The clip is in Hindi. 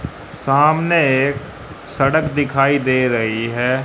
सामने एक सड़क दिखाई दे रही है।